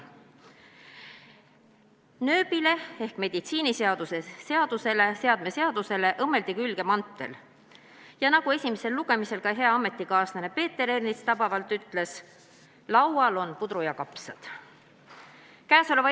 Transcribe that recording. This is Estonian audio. Nööbile ehk meditsiiniseadme seadusele õmmeldi külge mantel ja nagu esimesel lugemisel hea ametikaaslane Peeter Ernits tabavalt ütles, laual on puder ja kapsad.